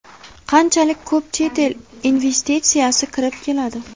Qanchalik ko‘p chet el investitsiyasi kirib keladi?